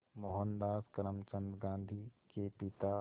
मोहनदास करमचंद गांधी के पिता